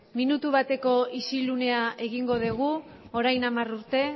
minutu bateko isilunea egingo degu orain hamar urte